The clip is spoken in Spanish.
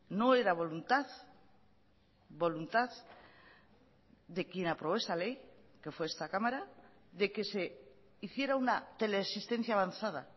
no era voluntad voluntad de quien aprobó esa ley que fue esta cámara de que se hiciera una teleasistencia avanzada